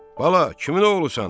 Bala, kimin oğlusan?